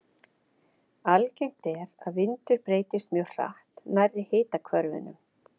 Algengt er að vindur breytist mjög hratt nærri hitahvörfunum.